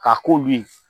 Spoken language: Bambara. K'a ko min